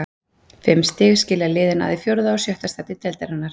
Fimm stig skilja liðin að í fjórða og sjötta sæti deildarinnar.